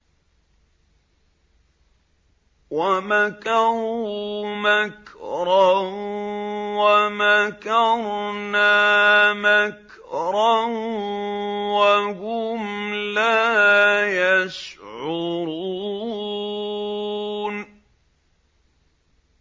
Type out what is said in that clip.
وَمَكَرُوا مَكْرًا وَمَكَرْنَا مَكْرًا وَهُمْ لَا يَشْعُرُونَ